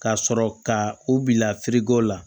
Ka sɔrɔ ka u bila la